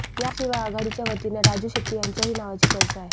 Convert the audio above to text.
याशिवाय आघाडीच्या वतीने राजू शेट्टी यांच्याही नावाची चर्चा आहे